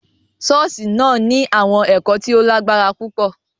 Ṣọọṣi náà ni awọn ẹkọ ti o lagbara pupọ.